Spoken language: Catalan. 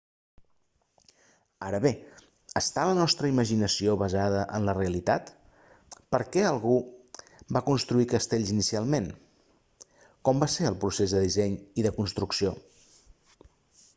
ara bé està la nostra imaginació basada en la realitat per què algú va construir castells inicialment com va ser el procés de disseny i de construcció